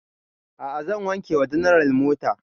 A'a zan wanke wa general mota